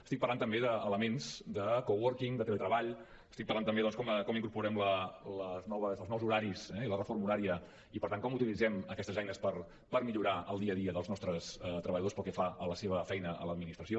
estic parlant també d’elements de coworking de teletreball estic parlant també doncs de com incorporem els nous horaris i la reforma horària i per tant com utilitzem aquestes eines per millorar el dia a dia dels nostres treballadors pel que fa a la seva feina a l’administració